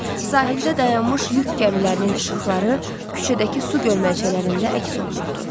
Sahildə dayanmış yük gəmilərinin işıqları küçədəki su gölməçələrində əks olunurdu.